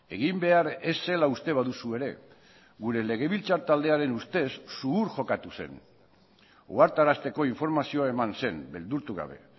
egin behar ez zela uste baduzu ere gure legebiltzar taldearen ustez zuhur jokatu zen ohartarazteko informazioa eman zen beldurtu gabe